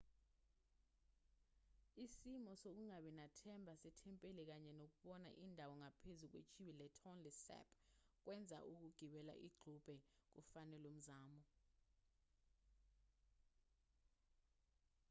isimo sokungabi nathemba sethempeli kanye nokubona indawo ngaphezu kwechibi letonle sap kwenza ukugibela igqube kufanelwe umzamo